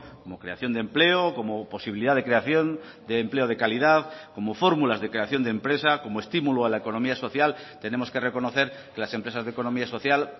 como creación de empleo como posibilidad de creación de empleo de calidad como fórmulas de creación de empresa como estímulo a la economía social tenemos que reconocer que las empresas de economía social